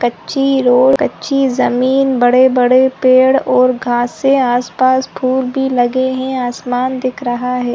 कच्ची रोड कच्ची जमीन बड़े-बड़े पेड़ और घासे आसपास फुल भी लगे है आसमान दिख रहा है।